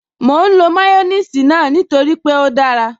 Mò ń lo máyọ́nìsì náà nítorí pé ó dára